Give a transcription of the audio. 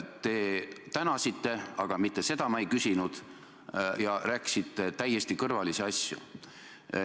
Te tänasite, aga rääkisite täiesti kõrvalisi asju.